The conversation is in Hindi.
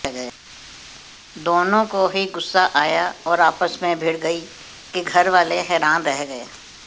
दोनों को ही गुस्सा आया और आपस में भिड़ गई कि घरवाले हैरान रह गए